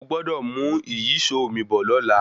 Mo gbọ́dọ̀ mú ìyíṣòó mi bọ̀ lọ́la.